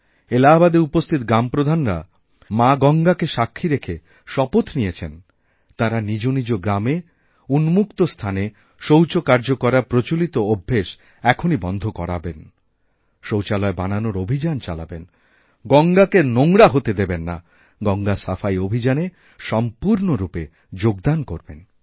এলাহাবাদে উপস্থিত গ্রামপ্রধানরা মাগঙ্গাকে সাক্ষী রেখে শপথ নিয়েছেন তাঁরা নিজনিজ গ্রামে উন্মুক্ত স্থানে শৌচকার্য করার প্রচলিত অভ্যাস এখনই বন্ধ করাবেনশৌচালয় বানানোর অভিযান চালাবেন গঙ্গাকেনোংরা হতে দেবেন না গঙ্গা সাফাই অভিযানে সম্পূর্ণরূপে যোগদান করবেন